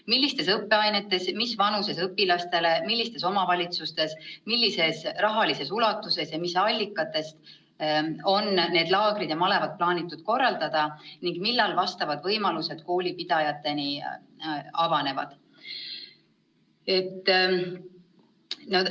Millistes õppeainetes, mis vanuses õpilastele, millistes omavalitsustes, millises rahalises ulatuses ja mis allikatest on need laagrid ja malevad plaanitud korraldada ning millal vastavad võimalused koolipidajatele avanevad?